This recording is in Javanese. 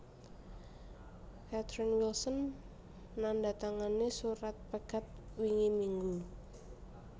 Catherine Wilson nandatangani surat pegat wingi minggu